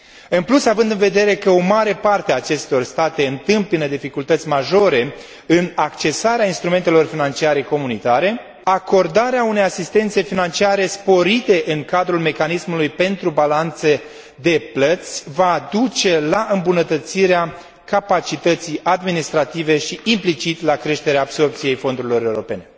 În plus, având în vedere că o mare parte a acestor state întâmpină dificultăți majore în accesarea instrumentelor financiare comunitare, acordarea unei asistențe financiare sporite în cadrul mecanismului pentru balanțe de plăți va duce la îmbunătățirea capacității administrative și, implicit, la creșterea absorbției fondurilor europene.